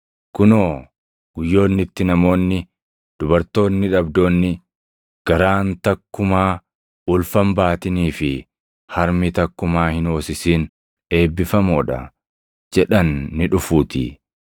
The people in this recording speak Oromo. Kunoo guyyoonni itti namoonni, ‘dubartoonni dhabdoonni, garaan takkumaa ulfa hin baatinii fi harmi takkumaa hin hoosisin eebbifamoo dha’ jedhan ni dhufuutii.